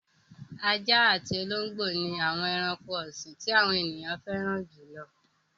Ajá àti olóńgbò ni àwọn ẹranko ọ̀sìn tí àwọn ènìyàn fẹ́ràn jù lọ.